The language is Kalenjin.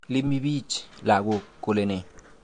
Iimi bich lakook kole nee?